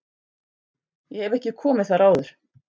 Ég hef ekki komið þar áður.